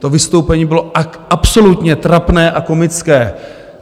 To vystoupení bylo absolutně trapné a komické.